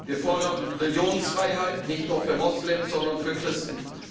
Wir fordern Religionsfreiheit, nicht nur für Moslems, sondern auch für Christen.